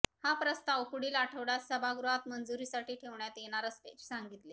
हा प्रस्ताव पुढील आठवडय़ात सभागृहात मंजुरीसाठी ठेवण्यात येणार असल्याचे सांगितले